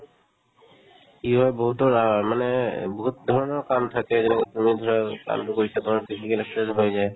কি হয় বহুতৰ অ মানে বহুত ধৰণৰ কাম থাকে যেনেকে তুমি ধৰা কামটো কৰিছা ধৰা physical exercise হৈ যায়